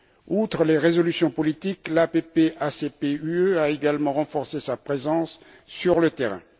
Outre les résolutions politiques, l'APP ACP UE a également renforcé sa présence sur le terrain.